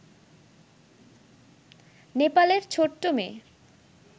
নেপালের ছোট্ট মেয়ে